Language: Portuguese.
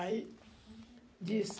Aí, disse...